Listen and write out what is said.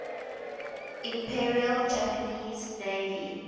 imperial japanese navy